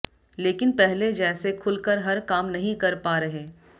लेकिन पहले जैसे खुल कर हर काम नहीं कर पा रहे